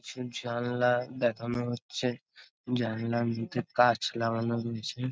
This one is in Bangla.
জানলা দেখানো হচ্ছে। জানলার নীচে কাঁচ লাগান হয়েছে ।